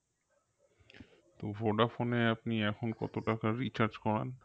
তো Voda phone এ আপনি এখন কত টাকার recharge করান?